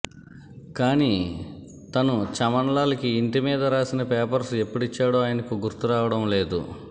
కానీ తను చమన్లాల్కి ఇంటిమీద రాసిన పేపర్స్ ఎప్పుడిచ్చాడో ఆయనకు గుర్తు రావడం లేదు